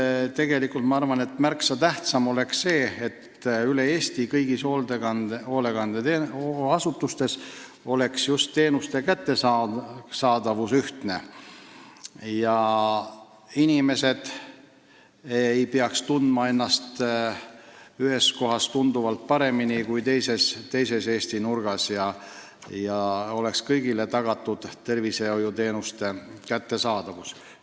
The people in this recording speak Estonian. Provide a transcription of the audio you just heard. Ma arvan, et tegelikult oleks märksa tähtsam see, et kõigis hoolekandeasutustes üle Eesti oleks just teenuste kättesaadavus ühtne, nii et inimesed ei peaks tundma ennast ühes kohas tunduvalt paremini kui teises Eesti nurgas, ja tervishoiuteenused oleksid tagatud kõigile.